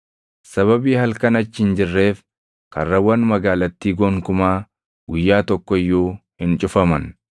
Sababii halkan achi hin jirreef karrawwan magaalattii gonkumaa guyyaa tokko iyyuu hin cufaman.